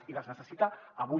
i les necessita avui